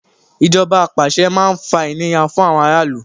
Ìjọba apàṣẹ máa ń fa ìnira fún ará ìlú.